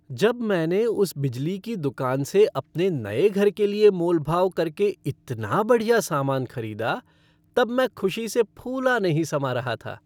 जब मैंने उस बिजली की दुकान से अपने नए घर के लिए मोल भाव करके इतना बढ़िया सामान खरीदा तब मैं खुशी से फूला नहीं समा रहा था।